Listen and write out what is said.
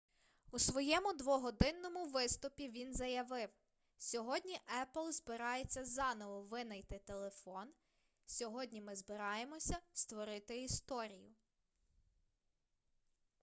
у своєму двогодинному виступі він заявив сьогодні apple збирається заново винайти телефон сьогодні ми збираємося створити історію